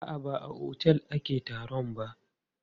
A'a, ba a otel ake taron ba.